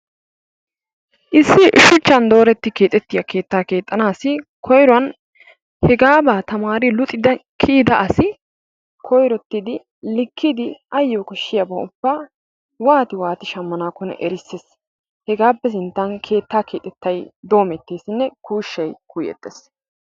Issi shuchchan doretti keexxettiya keettaa keexxanaassi koyruwan hegaabaa tamaari luxxida kiyida asi koyrottid likkidi ayo koshshiyaabaa ubbaa waati waati shamanaakkonne erisees. Hegaappe sinttan keettaa kexxettay doometteesinne kuushshay kuuyeettees.